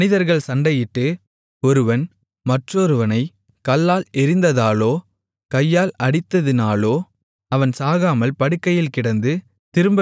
மனிதர்கள் சண்டையிட்டு ஒருவன் மற்றொருவனைக் கல்லால் எறிந்ததாலோ கையால் அடித்ததினாலோ அவன் சாகாமல் படுக்கையில் கிடந்து